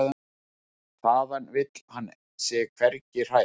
Þaðan vill hann sig hvergi hræra.